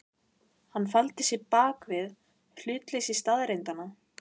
Hann faldi sig bak við hlutleysi staðreyndanna.